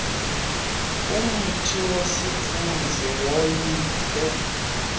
ngumthi wesithunzi woyikwe